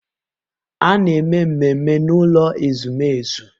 A na-eme mmemme n'ụlọ ezumezu.